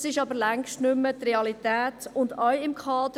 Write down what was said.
Das entspricht aber längst nicht mehr der Realität, auch nicht im Kader.